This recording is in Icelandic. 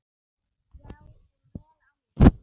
Já, og vel á minnst.